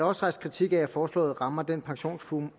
også rejst kritik af at forslaget rammer den pensionsformue